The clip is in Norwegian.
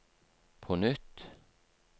på nytt